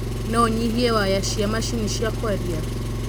No ũnyihie waya cia macini cia kwaria